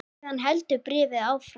Síðan heldur bréfið áfram